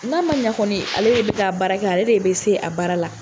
N'a ma ɲa kɔni, ale de be taa baara kɛ ,ale de be se a baara la.